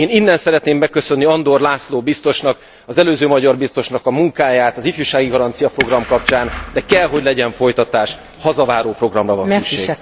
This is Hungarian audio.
Én innen szeretném megköszönni Andor László biztosnak, az előző magyar biztosnak a munkáját az ifjúsági garancia program kapcsán, de kell, hogy legyen folytatás, hazaváró programra van szükség.